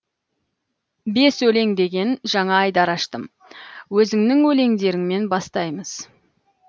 бес өлең деген жаңа айдар аштым өзіңнің өлеңдеріңмен бастаймыз